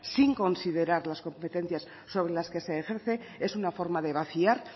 sin considerar las competencias sobre las que se ejerce es una forma de vaciar